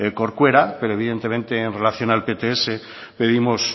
corcuera pero evidentemente en relación al pts pedimos